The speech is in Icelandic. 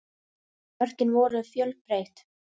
Mörkin voru fjölbreytt